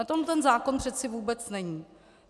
O tom ten zákon přece vůbec není.